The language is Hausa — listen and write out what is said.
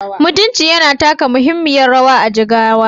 Mutunci yana taka muhimmiyar rawa a Jigawa